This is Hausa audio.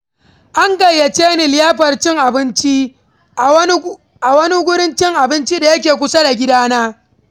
An gayyace ni liyafar cin abinci, a wani wurin cin abinci da yake kusa da gidana.